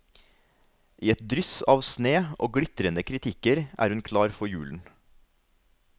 I et dryss av sne og glitrende kritikker er hun klar for julen.